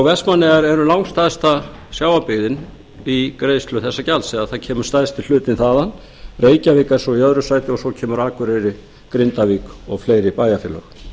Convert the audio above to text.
vestmannaeyjar eru langstærsta sjávarbyggðin í greiðslu þessa gjalds eða það kemur stærsti hluta þaðan reykjavík er svo í öðru sæti svo kemur akureyri grindavík og fleiri bæjarfélög